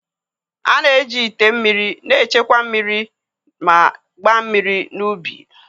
A na-eji ite mmiri na-echekwa mmiri na mmiri n'ubi.